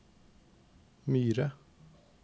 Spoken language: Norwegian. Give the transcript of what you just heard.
Myre